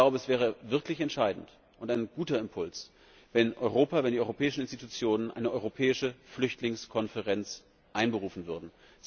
Es wäre wirklich entscheidend und ein guter Impuls, wenn Europa, wenn die europäischen Institutionen eine europäische Flüchtlingskonferenz einberufen würden.